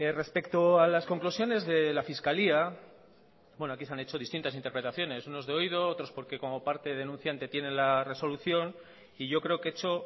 respecto a las conclusiones de la fiscalía aquí se han hecho distintas interpretaciones unos de oído otros porque como parte denunciante tienen la resolución y yo creo que he hecho